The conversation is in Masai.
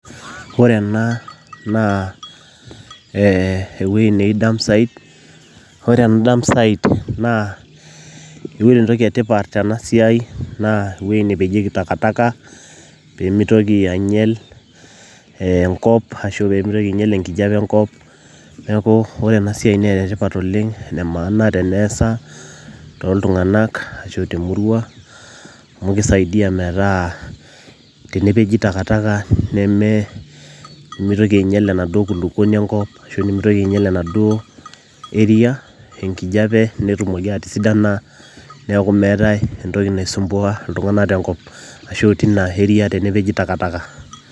Ore ena naa ee ewueji naji dump site ore dumpsite naa ore entoki etipat tena siai naa ewueji nepejieki takataka pee mitoki ainyial enkop arashu pee mitoki ainyial enkijape enkop, neeku ore ena siai naa enetipat oleng' ene maana teneesa toltung'anak ashu temurrua amu kisaidia metaa tenepeji takataka nemitoki ainyial enaduo kulukuoni enkop ashu nemitoki ainyial enaduo area enkijiape netumoki atisidana, neeku meetae entoki naisumbuaa iltung'anak tenkop arashu tina area tenepeji takataka.